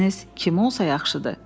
Maşinist kim olsa, yaxşıdır?